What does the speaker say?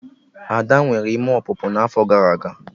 Ada nwere ime ọpụpụ n'afọ gara aga